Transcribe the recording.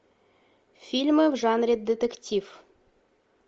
фильмы в жанре детектив